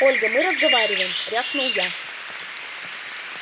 ольга мы разговариваем рявкнул я